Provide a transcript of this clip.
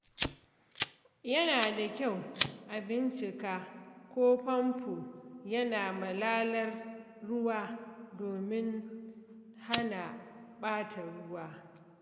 Yana da kyau a bincika ko famfo yana malalar ruwa domin hana ɓata ruwa.